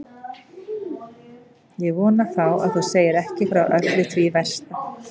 Ég vona þá að þú segir ekki frá öllu því versta.